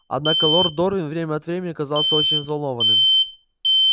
однако лорд дорвин время от времени казался очень взволнованным